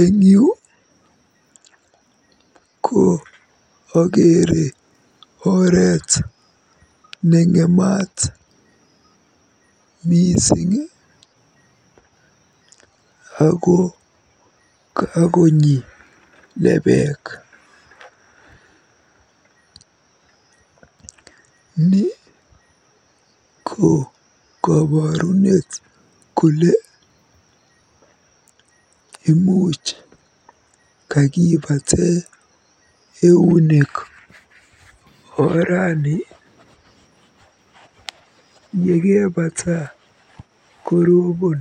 Eng yu ko akeere oret neng'emat mising ako kakonyi lebeek. Ni ko koborunet kole imuch kakibate eunek orani, yekebata korobon.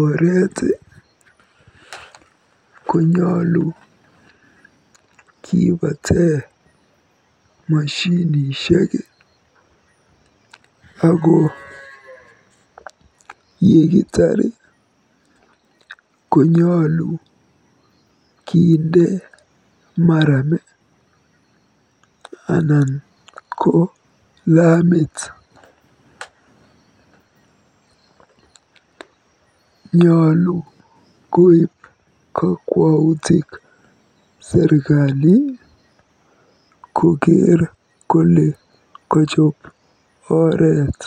Oreet konyolu kibate moshinishek ako yekitaar konyolu kinde maram anan ko lamit. Nyolu koib kokwoutik serikali kokeer kole kajoob oret.